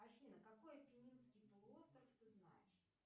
афина какой аппенинский полуостров ты знаешь